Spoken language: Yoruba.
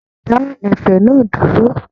Dá ẹ̀fẹ̀ náà dúró!